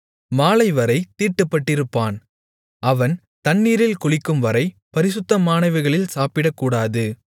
மாலைவரைத் தீட்டுப்பட்டிருப்பான் அவன் தண்ணீரில் குளிக்கும்வரை பரிசுத்தமானவைகளில் சாப்பிடக்கூடாது